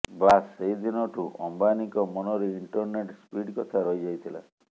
ବାସ୍ ସେହି ଦିନଠୁ ଅମ୍ବାନୀଙ୍କ ମନରେ ଇଣ୍ଟରନେଟ୍ ସ୍ପିଡ୍ କଥା ରହିଯାଇଥିଲା